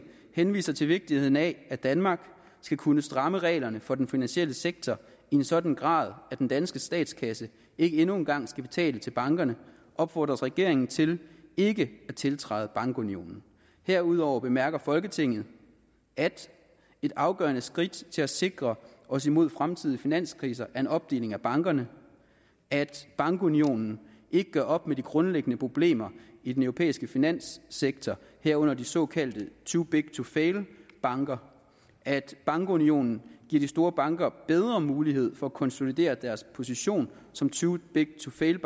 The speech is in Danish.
henviser til vigtigheden af at danmark skal kunne stramme reglerne for den finansielle sektor i en sådan grad at den danske statskasse ikke endnu engang skal betale til bankerne opfordres regeringen til ikke at tiltræde bankunionen herudover bemærker folketinget at et afgørende første skridt til at sikre os imod fremtidige finanskriser er en opdeling af bankerne at bankunionen ikke gør op med de grundlæggende problemer i den europæiske finanssektor herunder de såkaldte too big to fail banker at bankunionen giver de store banker bedre muligheder for at konsolidere deres position som too big to fail